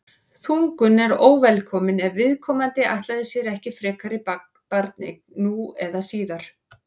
þungun er óvelkomin ef viðkomandi ætlaði sér ekki frekari barneign nú eða síðar